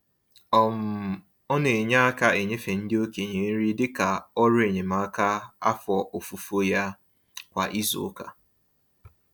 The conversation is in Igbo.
um Ọ na-enye aka enyefe ndị okenye nri dịka ọrụ enyemaka afọ ofufo ya kwa izuụka.